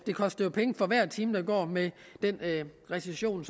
koster penge for hver time der går med den recession